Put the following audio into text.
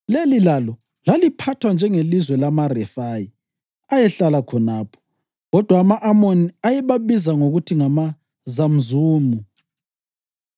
(Leli lalo laliphathwa njengelizwe lamaRefayi ayehlala khonapho; kodwa ama-Amoni ayebabiza ngokuthi ngamaZamzumu.